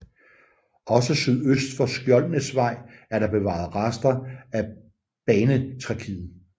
Også sydøst for Skjoldenæsvej er der bevaret rester af banetracéet